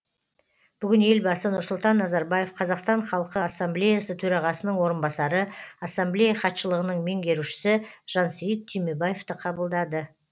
бүгін елбасы нұрсұлтан назарбаев қазақстан халқы ассамблеясы төрағасының орынбасары ассамблея хатшылығының меңгерушісі жансейіт түймебаевты қабылдады